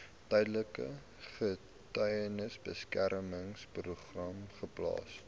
tydelike getuiebeskermingsprogram geplaas